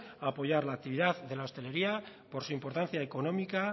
a apoyar la actividad de la hostelería por su importancia económica